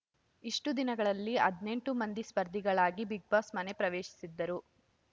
ಇಷ್ಟುದಿನಗಳಲ್ಲಿ ಹದಿನೆಂಟು ಮಂದಿ ಸ್ಪರ್ಧಿಗಳಾಗಿ ಬಿಗ್‌ ಬಾಸ್‌ ಮನೆ ಪ್ರವೇಶಿಸಿದ್ದರು